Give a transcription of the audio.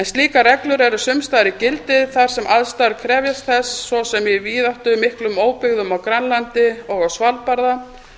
slíkar reglur eru sums staðar í gildi þar sem aðstæður krefjast þess svo sem í víðáttumiklum óbyggðum á grænlandi og á svalbarða